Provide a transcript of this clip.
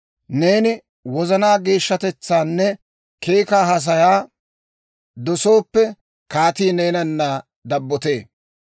Neeni wozanaa geeshshatetsaanne keekaa haasayaa dosooppe, kaatii neenana dabbotee.